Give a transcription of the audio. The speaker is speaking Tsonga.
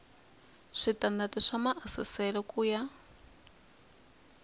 switandati swa maasesele ku ya